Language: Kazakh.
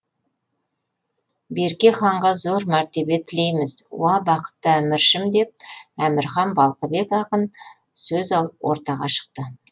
берке ханға зор мәртебе тілейміз уа бақытты әміршім деп әмірхан балқыбек ақын сөз алып ортаға шықты